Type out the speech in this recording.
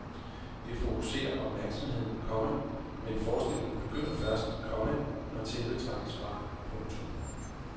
Det fokuserer opmærksomheden, komma men forestillingen begynder først, komma når tæppet trækkes fra. punktum